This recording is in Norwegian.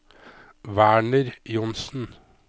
Werner Johnsen